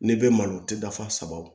N'i bɛ malo tɛ da fa saba